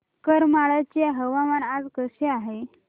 करमाळ्याचे हवामान आज कसे आहे